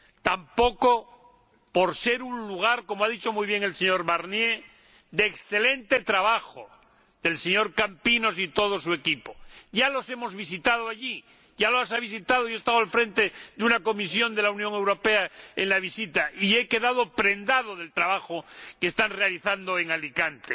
tampoco por ser un lugar, como ha dicho muy bien el señor Barnier, de excelente trabajo del señor Campinos y todo su equipo. Ya los hemos visitado allí yo he estado al frente de una delegación de la Unión Europea en esa visita, y he quedado prendado del trabajo que están realizando en Alicante.